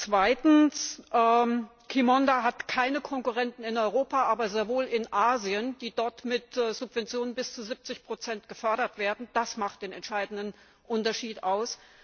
Zweitens hat Qimonda keine Konkurrenten in Europa, aber sehr wohl in Asien, die dort mit Subventionen bis zu 70 gefördert werden das macht den entscheidenden Unterschied aus.